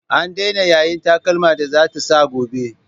An daina yayin takalman da za ta sa gobe.